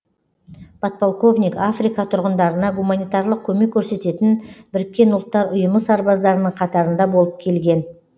подполковник африка тұрғындарына гуманитарлық көмек көрсететін біріккен ұлттар ұйымы сарбаздарының қатарында болып келген